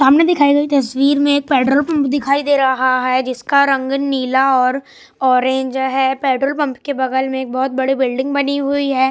दिखाई गई तस्वीर में एक पेट्रोल पंप दिखाई दे रहा है जिसका रंग नीला और ऑरेंज है पेट्रोल पंप के बगल में बहुत बड़ी बिल्डिंग बनी हुई है।